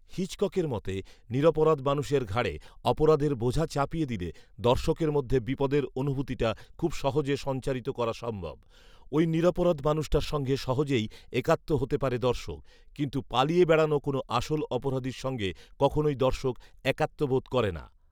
হিচককের মতে, "নিরপরাধ মানুষের ঘাড়ে অপরাধের বোঝা চাপিয়ে দিলে দর্শকের মধ্যে বিপদের অনুভূতিটা খুব সহজে সঞ্চারিত করা সম্ভব ৷ওই নিরপরাধ মানুষটার সঙ্গে সহজেই একাত্ম হতে পারে দর্শক ৷কিন্তু পালিয়ে বেড়ানো কোনও আসল অপরাধীর সঙ্গে কখনওই দর্শক একাত্মবোধ করে না